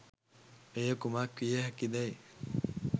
එය කුමක් විය හැකිදැ'යි